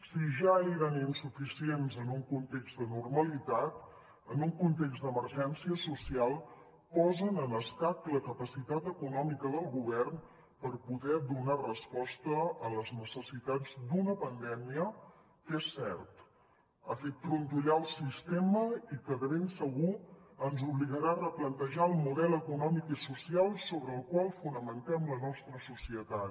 si ja eren insuficients en un context de normalitat en un context d’emergència social posen en escac la capacitat econòmica del govern per poder donar resposta a les necessitats d’una pandèmia que és cert ha fet trontollar el sistema i que de ben segur ens obligarà a replantejar el model econòmic i social sobre el qual fonamentem la nostra societat